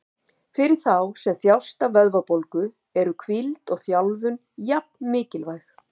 Fyrir þá sem þjást af vöðvabólgu eru hvíld og þjálfun jafn mikilvæg.